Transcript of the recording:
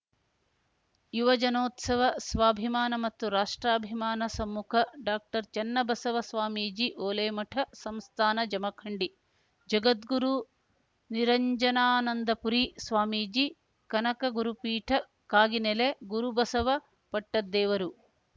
ಯುವಜನೋತ್ಸವ ಸ್ವಾಭಿಮಾನ ಮತ್ತು ರಾಷ್ಟ್ರಾಭಿಮಾನ ಸಮ್ಮುಖ ಡಾಕ್ಟರ್ಚನ್ನಬಸವ ಸ್ವಾಮೀಜಿ ಓಲೇಮಠ ಸಂಸ್ಥಾನ ಜಮಖಂಡಿ ಜಗದ್ಗುರು ನಿರಂಜನಾನಂದಪುರಿ ಸ್ವಾಮೀಜಿ ಕನಕ ಗುರುಪೀಠ ಕಾಗಿನೆಲೆ ಗುರುಬಸವ ಪಟ್ಟದ್ದೇವರು